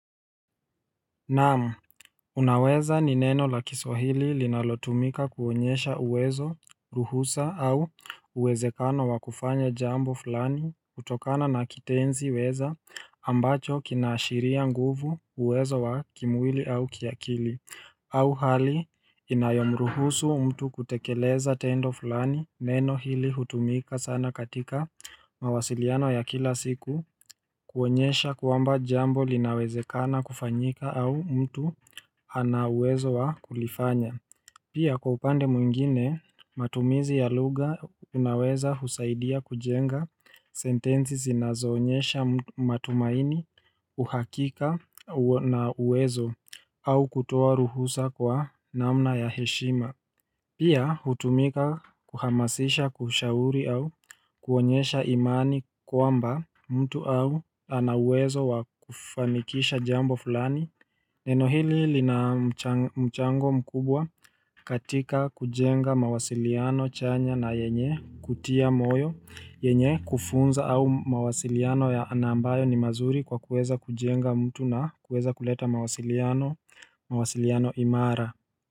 Naam, unaweza ni neno la kiswahili linalotumika kuonyesha uwezo, ruhusa au uwezekano wa kufanya jambo fulani hutokana na kitenzi weza ambacho kinaashiria nguvu uwezo wa kimwili au kiakili au hali inayomruhusu mtu kutekeleza tendo fulani neno hili hutumika sana katika mawasiliano ya kila siku kuonyesha kwamba jambo linawezekana kufanyika au mtu ana uwezo wa kulifanya. Pia kwa upande mwingine matumizi ya lugha unaweza husaidia kujenga sentenzi zinazoonyesha matumaini uhakika na uwezo au kutoa ruhusa kwa namna ya heshima Pia hutumika kuhamasisha kushauri au kuonyesha imani kwamba mtu au ana uwezo wakufanikisha jambo fulani Neno hili lina mchango mkubwa katika kujenga mawasiliano chanya na yenye kutia moyo, yenye kufunza au mawasiliano ya na ambayo ni mazuri kwa kuweza kujenga mtu na kuweza kuleta mawasiliano imara.